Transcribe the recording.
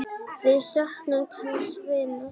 Við söknum kærs vinar.